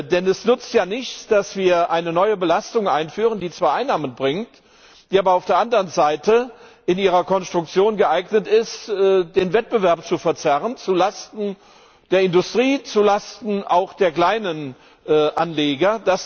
Denn es nützt ja nichts, wenn wir eine neue Belastung einführen, die zwar Einnahmen bringt, die aber auf der anderen Seite in ihrer Konstruktion geeignet ist, den Wettbewerb zu verzerren zulasten der Industrie, zulasten auch der kleinen Anleger.